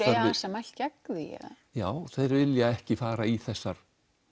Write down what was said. mælt gegn því já þeir vilja ekki fara í þessar